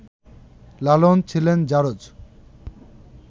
লালন ছিলেন ‘জারজ’